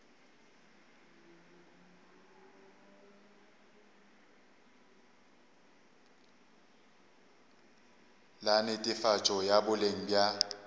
la netefatšo ya boleng bja